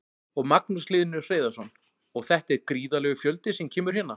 Magnús Hlynur Hreiðarsson: Og þetta er gríðarlegur fjöldi sem kemur hérna?